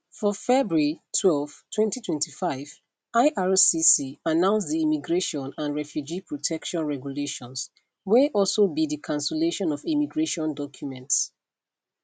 for february twelve 2025 ircc announce di immigration and refugee protection regulations wey also be di cancellation of immigration documents